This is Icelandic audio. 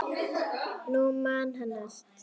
Nú man hann allt.